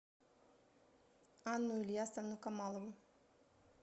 анну ильясовну камалову